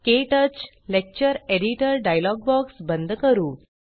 क्टच lecture editor dialog box बंद करू